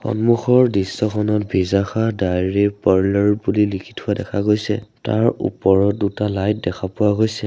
সন্মুখৰ দৃশ্যখনত ভিজাখা ডাইৰী পাৰ্লাৰ বুলি লিখি থোৱা দেখা গৈছে তাৰ ওপৰত দুটা লাইট দেখা পোৱা গৈছে।